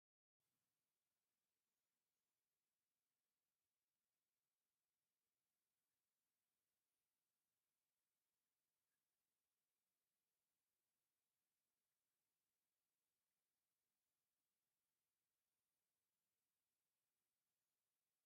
ኣብዚ ቦታ በቲ ዝራኣዩ ዘለው ሚዛናት ቤት መኽዝንን ብዙሓት ዓይነት ናይ ሸቐጥ ኣእኻል ዝሽየጥሉን ምዃኑ ይሕብር፡፡ ንደቂ ሰባት ምዕጋብ ተስፋን ዘይምስኣን ትምኒትን ክህሉ ይሕግዝ፡፡